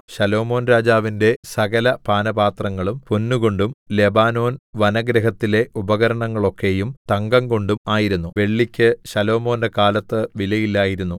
ശലോമോൻരാജാവിന്റെ സകലപാനപാത്രങ്ങളും പൊന്നുകൊണ്ടും ലെബാനോൻ വനഗൃഹത്തിലെ ഉപകരണങ്ങളൊക്കെയും തങ്കംകൊണ്ടും ആയിരുന്നു വെള്ളിക്ക് ശലോമോന്റെ കാലത്ത് വിലയില്ലായിരുന്നു